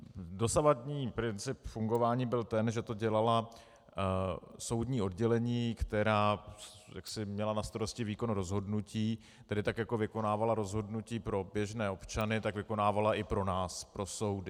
Dosavadní princip fungování byl ten, že to dělala soudní oddělení, která měla na starosti výkon rozhodnutí, tedy tak jako vykonávala rozhodnutí pro běžné občany, tak vykonávala i pro nás, pro soudy.